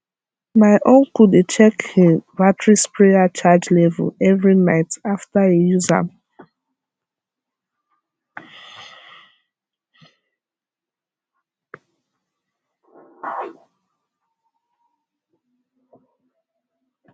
my uncle dey check hin battery sprayer charge level every night after e use am